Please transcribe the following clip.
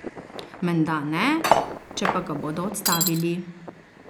Menda ne, če pa ga bodo odstavili?